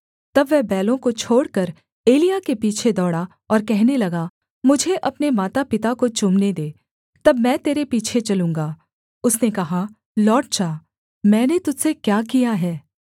तब वह बैलों को छोड़कर एलिय्याह के पीछे दौड़ा और कहने लगा मुझे अपने मातापिता को चूमने दे तब मैं तेरे पीछे चलूँगा उसने कहा लौट जा मैंने तुझ से क्या किया है